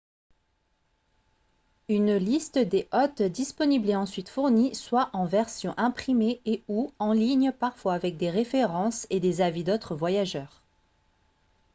une liste des hôtes disponibles est ensuite fournie soit en version imprimée et / ou en ligne parfois avec des références et des avis d'autres voyageurs